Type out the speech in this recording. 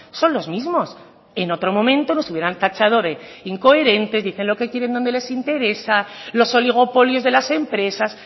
son los mismos en otro momento nos hubieran tachado de incoherentes dicen lo que quieren donde les interesa los oligopolios de las empresas